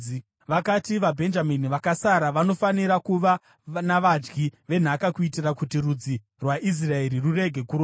Vakati, “VaBhenjamini vakasara vanofanira kuva navadyi venhaka kuitira kuti rudzi rwaIsraeri rurege kurova.